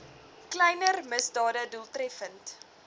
kleiner misdade doeltreffend